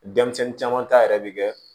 Denmisɛnnin caman ta yɛrɛ bɛ kɛ